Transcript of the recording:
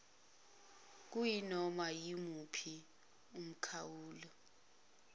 kuyinoma iwuphi umkhawulo